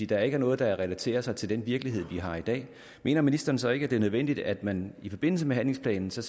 der ikke er noget der relaterer sig til den virkelighed vi har i dag mener ministeren så ikke at det er nødvendigt at man i forbindelse med handlingsplanen så